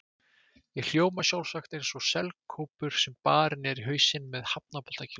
Ég hljóma sjálfsagt eins og selkópur sem barinn er í hausinn með hafnaboltakylfu.